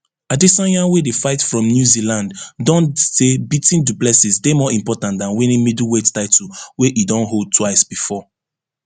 adesanya wey dey fight from new zealand don say beating du plessis dey more important dan winning middleweight title wey e don hold twice bifor